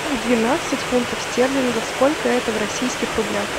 двенадцать фунтов стерлингов сколько это в российских рублях